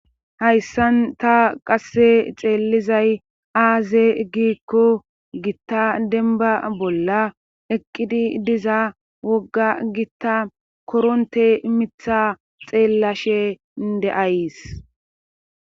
hayssan ta qasse xeellizay aaze giikko gitta denba bolla eqqidi diza wogga gitta koronte mitha xeellashe inde7ays